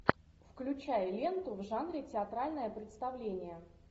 включай ленту в жанре театральное представление